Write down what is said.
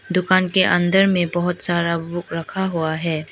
दुकान के अंदर में बहुत सारा बुक रखा हुआ है।